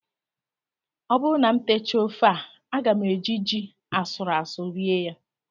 Ọ bụrụ na m techaa ofe a, aga m eji ji asụrụ asụ rie ya